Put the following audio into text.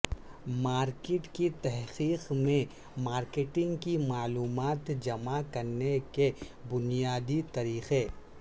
market کی تحقیق میں مارکیٹنگ کی معلومات جمع کرنے کے بنیادی طریقے